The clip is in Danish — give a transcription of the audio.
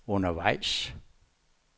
undervejs